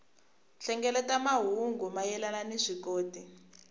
hlengeleta mahungu mayelana ni vuswikoti